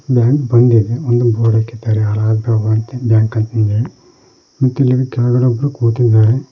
Bank bandh ಇದೆ ಒಂದು board ಹಾಕಿದ್ದಾರೆ ಅಲಹಾಬಾದ್ ಬ್ಯಾಂಕ್ ಅಂತ್ ಹೇಳಿ ಮತ್ತ್ ಇಲ್ಲಿ ಕೆಳಗಡೆ ಒಬ್ರು ಕುಂತಿದ್ದಾರೆ.